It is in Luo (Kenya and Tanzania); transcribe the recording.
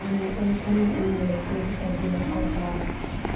Ng'iyo en twoo ma inyalothiedh kod loko paro